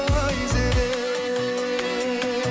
айзере